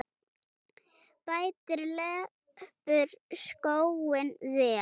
Bætir leppur skóinn vel.